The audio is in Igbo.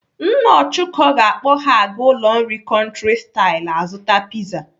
Nna Ọchụko ga-akpọ ha aga ụlọ nri Country style azụta piza.